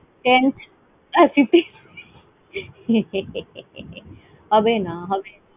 tenth fifteenth হবে না। হবে